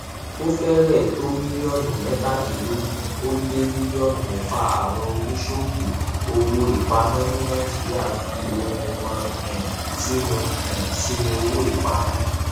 ó fẹrẹẹ tó mílíọnù mẹtàdínlọgún ó lé mílíọnù mẹfà àwọn oníṣòwò owóìpamọ ní nàìjíríà fi ohun wọn um sínú um sínú owóìpamọ